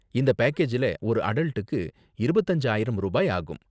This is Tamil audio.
இந்த பேக்கேஜ்ல ஒரு அடல்ட்டுக்கு இருபத்து அஞ்சு ஆயிரம் ரூபாய் ஆகும்.